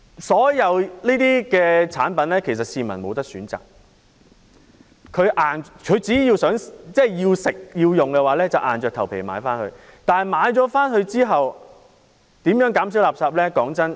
所有產品的包裝，市民也無法選擇，只要他們想吃或想用，便要硬着頭皮買回家，之後可如何減少垃圾？